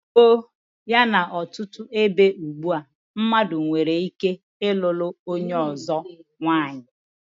Mgbe gboo yana ọtụtụ ebe ugbua, mmadụ nwere ike ịlụlụ onye ọzọ nwanyị.